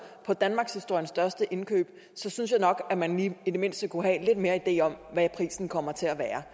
på danmarkshistoriens største indkøb synes jeg nok at man i det mindste kunne have lidt mere idé om hvad prisen kommer til at være